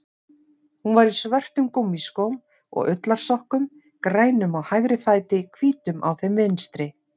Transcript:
Hún var í svörtum gúmmískóm og ullarsokkum, grænum á hægri fæti, hvítum á þeim vinstri.